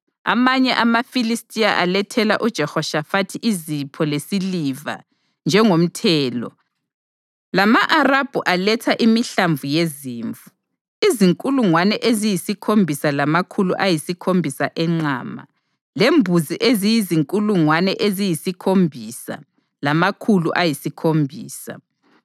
Amanye amaFilistiya alethela uJehoshafathi izipho lesiliva njengomthelo, lama-Arabhu aletha imihlambi yezimvu: izinkulungwane eziyisikhombisa lamakhulu ayisikhombisa enqama, lembuzi eziyizinkulungwane eziyisikhombisa lamakhulu ayisikhombisa.